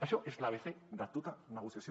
això és l’abecé de tota negociació